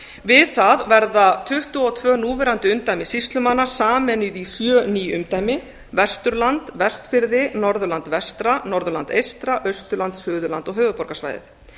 við það verða tuttugu og tvö núverandi umdæmi sýslumanna sameinuð í sjö ný umdæmi vesturland vestfirði norðurland vestra norðurland eystra austurland suðurland og höfuðborgarsvæðið